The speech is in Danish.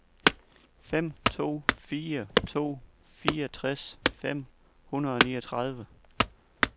fem to fire to fireogtres fem hundrede og niogtredive